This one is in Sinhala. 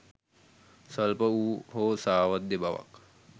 ස්වල්ප වූ හෝ සාවද්‍ය බවක්